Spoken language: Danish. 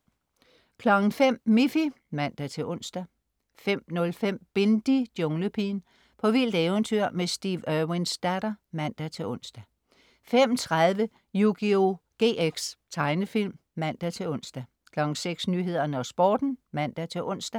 05.00 Miffy (man-ons) 05.05 Bindi: Junglepigen. På vildt eventyr med Steve Irwins datter (man-ons) 05.30 Yugioh GX. Tegnefilm (man-ons) 06.00 Nyhederne og Sporten (man-ons)